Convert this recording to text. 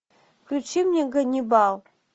включи мне ганнибал